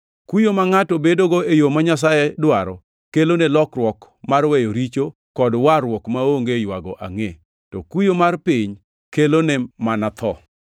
Kuyo ma ngʼato bedogo e yo ma Nyasaye dwaro kelone lokruok mar weyo richo kod warruok maonge ywago angʼe, to kuyo mar piny kelone mana tho.